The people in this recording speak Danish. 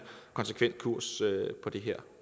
konsekvent kurs på det her